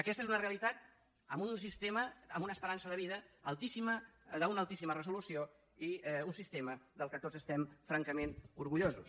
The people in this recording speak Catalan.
aquesta és una realitat en un sistema amb una esperança de vida altíssima d’una altíssima resolució i un sistema de què tots estem francament orgullosos